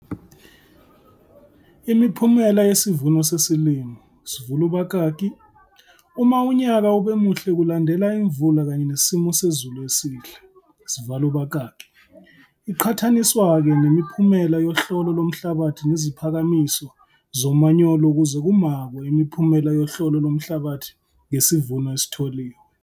Imiphumela yesivuno sesilimo, sivul' ubakaki, uma unyaka ube muhle kulandela imvula kanye nesimo sezulu esihle, sival' ubakaki, iqhathaniswa-ke nemiphumela yohlolo lomhlabathi neziphakamiso zomanyolo ukuze kumakwe imiphumela yohlolo lomhlabathi ngesivuno esitholiwe.